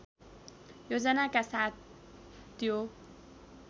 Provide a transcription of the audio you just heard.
योजनाका साथ त्यो